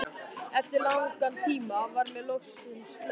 Eftir langan tíma var mér loks sleppt.